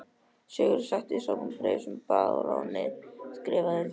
Sigurður setti saman bréf sem baróninn skrifaði undir.